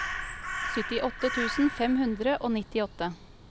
syttiåtte tusen fem hundre og nittiåtte